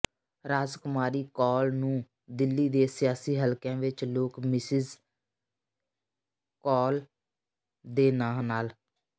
ਰਾਜਕੁਮਾਰੀ ਕੌਲ ਨੂੰ ਦਿੱਲੀ ਦੇ ਸਿਆਸੀ ਹਲਕਿਆਂ ਵਿਚ ਲੋਕ ਮਿਸਿਜ਼ ਕੌਲ ਦੇ ਨਾਂ ਨਾਲ